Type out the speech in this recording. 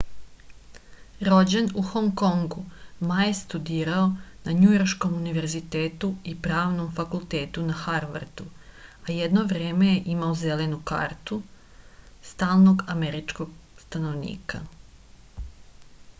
rođen u hong kongu ma je studirao na njujorškom univerzitetu i pravnom fakultetu na harvardu a jedno vreme je imao zelenu kartu stalnog američkog stanovnika